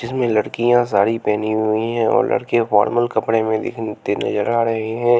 जिसमें लड़कियां साड़ी पेहनी हुई हें और लड़के फॉर्मल कपड़े में दिख ते नजर आ रहे हें।